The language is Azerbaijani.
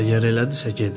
Əgər elədisə gedin,